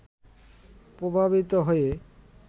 প্রভাবিত হয়ে